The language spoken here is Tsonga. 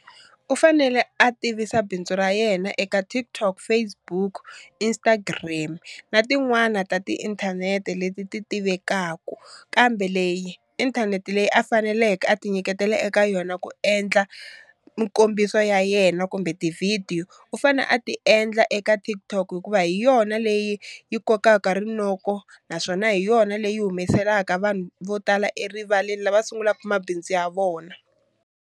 U fanele a tivisa bindzu ra yena eka TikTok, Facebook, Instagram na tin'wana ta tiinthanete leti ti tivekaku, kambe leyi inthanete leyi a faneleke a ti nyiketela eka yona ku endla mukombiso ya yena kumbe ti-video u fane a ti endla eka TikTok hikuva hi yona leyi yi kokaka rinoko naswona hi yona leyi humeselaka vanhu vo tala erivaleni lava sungulaka mabindzu ya vona.